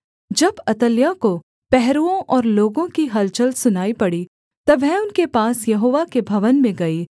जब अतल्याह को पहरुओं और लोगों की हलचल सुनाई पड़ी तब वह उनके पास यहोवा के भवन में गई